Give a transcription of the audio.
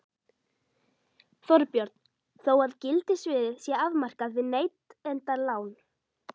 Þorbjörn: Þó að gildissviðið sé afmarkað við neytendalán?